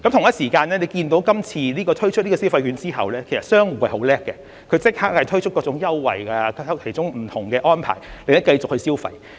同時，大家看到今次推出消費券計劃後，其實商戶是很厲害的，它們也立即推出各種優惠和不同安排，令大家繼續消費。